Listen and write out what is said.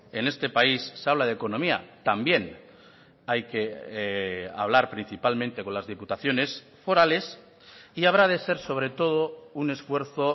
en este país se habla de economía también hay que hablar principalmente con las diputaciones forales y habrá de ser sobre todo un esfuerzo